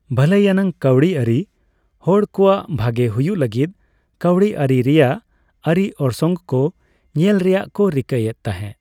ᱵᱷᱟᱹᱞᱟᱹᱭ ᱟᱱᱟᱜ ᱠᱟᱹᱣᱰᱤ ᱟᱹᱨᱤ ᱦᱚᱲ ᱠᱚᱣᱟᱜ ᱵᱷᱜᱟᱮ ᱦᱩᱭᱩᱜ ᱞᱟᱹᱜᱤᱫ ᱠᱟᱹᱣᱰᱤ ᱟᱹᱨᱤ ᱨᱮᱭᱟᱜ ᱟᱹᱨᱤ ᱚᱨᱥᱚᱝ ᱠᱚ ᱧᱮᱞ ᱨᱮᱭᱟᱜ ᱠᱚ ᱨᱤᱠᱟᱹᱭᱮᱫ ᱛᱟᱸᱦᱮ ᱾